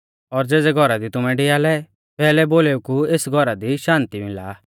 और ज़ेज़ै घौरा दी तुमै डिआलै पैहलै बोलेऊ कि एस घौरा दी शान्ति मिला